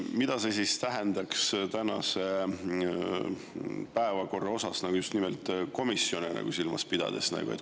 Mida see siis tähendaks tänase päevakorra jaoks, just nimelt komisjone silmas pidades?